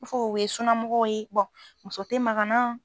Ko fɔ o ye sunnamɔgɔw ye bɔn muso te maga n na